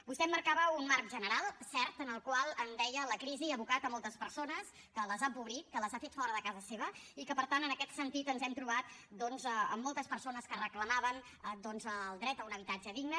vostè emmarcava un marc general cert en el qual deia la crisi ha abocat moltes persones que les ha empobrit que les ha fet fora de casa seva i que per tant en aquest sentit ens hem trobat doncs amb moltes persones que reclamaven el dret a un habitatge digne